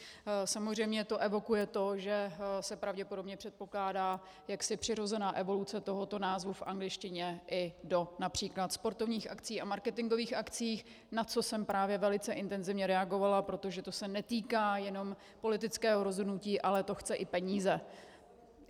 Samozřejmě to evokuje to, že se pravděpodobně předpokládá jaksi přirozená evoluce tohoto názvu v angličtině i do například sportovních akcí a marketingových akcí, na což jsem právě velice intenzivně reagovala, protože to se netýká jenom politického rozhodnutí, ale to chce i peníze.